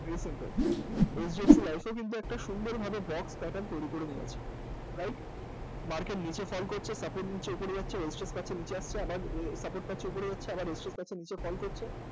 Very simple HDFC life এও কিন্তু একটা সুন্দরভাবে box pattern তৈরি করে নিয়েছে right? market নীচে fall করছে support নিচ্ছে উপরে যাচ্ছে আবার resistance পাচ্ছে নীচে আসছে আবার support পাচ্ছে উপরে আসছে আবার resistance পাচ্ছে নীচে fall করছে